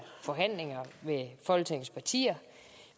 forhandlinger med folketingets partier